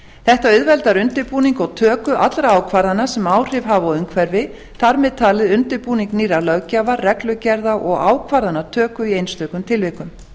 þetta auðveldar undirbúning og töku allra ákvarðana sem áhrif hafa á umhverfi þar með talið undirbúning nýrra löggjafa reglugerða og ákvarðanatöku í einstökum tilvikum